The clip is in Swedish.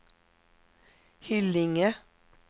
Hyllinge